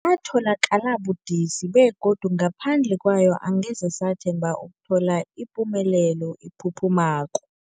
Yatholakala budisi, begodu ngaphandle kwayo angeze sathemba ukuthola ipumelelo ephuphumako.